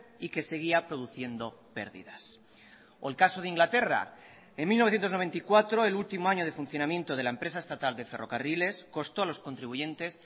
y que seguía produciendo pérdidas o el caso de inglaterra en mil novecientos noventa y cuatro el último año de funcionamiento de la empresa estatal de ferrocarriles costó a los contribuyentes